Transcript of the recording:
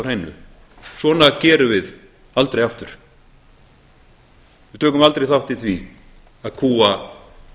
hreinu svona gerum við aldrei aftur við tökum aldrei þátt í því að kúga